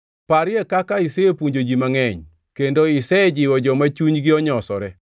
Parie kaka isepuonjo ji mangʼeny, kendo isejiwo joma chunygi onyosore.